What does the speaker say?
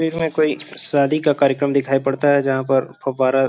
में कोई शादी का कार्यक्रम दिखाई पड़ता है जहाँ पर फव्वारा --